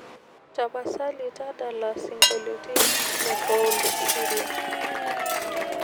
tapasali tadala singolioitin le paul siria